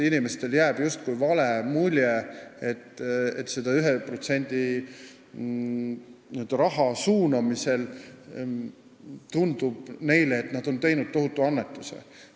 Inimestele jääb justkui vale mulje: neile tundub selle 1% raha suunamisel, et nad teevad tohutu annetuse.